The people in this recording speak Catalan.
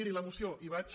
miri la moció hi vaig